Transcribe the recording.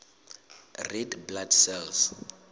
red blood cells